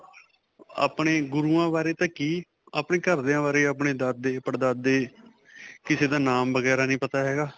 ਆਪਣੇ ਗੁਰੂਆਂ ਬਾਰੇ ਤਾਂ ਕੀ ਆਪਣੇ ਘਰਦਿਆਂ ਬਾਰੇ, ਦਾਦੇ ਪੜਦਾਦੇ, ਕਿਸੇ ਦਾ ਨਾਮ ਵਗੈਰਾ ਨਹੀਂ ਪਤਾ ਹੈਗਾ.